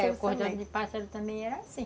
É, o cordão de pássaro também era assim.